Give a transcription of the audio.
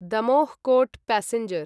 Damoh Kota passenger